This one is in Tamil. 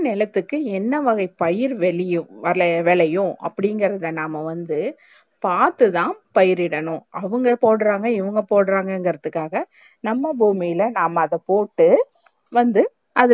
நேலத்துக்கு என்ன வகை பயிர் வெழியும் விளையும் அப்டி இங்கிரத நாம வந்து பாத்து தான் பயிர் இடனும் அவுங்க போட்றாங்க இவுங்க போட்றாங்க இங்கரத்துக்காக நம்ம பூமியலே அத போட்டு வந்து